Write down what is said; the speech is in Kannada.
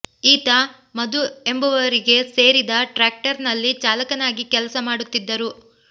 ಈತ ಮಧು ಎಂಬುವರಿಗೆ ಸೇರಿದ ಟ್ರ್ಯಾಕ್ಟರ್ ನಲ್ಲಿ ಚಾಲಕನಾಗಿ ಕೆಲಸ ಮಾಡುತ್ತಿದ್ದರು